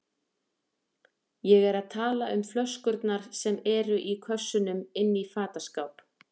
Ég er að tala um flöskurnar sem eru í kössunum inni í fataskáp.